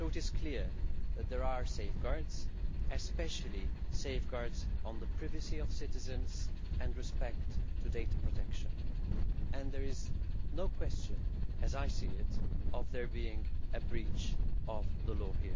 So it is clear that there are safeguards, especially safeguards on the privacy of citizens and respect of data protection, and there is no question, as I see it, of it being in breach of the law.